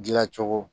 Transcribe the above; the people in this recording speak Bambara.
Dilancogo